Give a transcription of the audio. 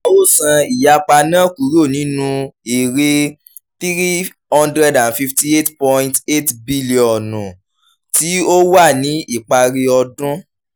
a ó san ìyapa náà kúrò nínú èrè three hundred and fifty eight point eight bílíọ̀nù tí ó wà ní ìparí ọdún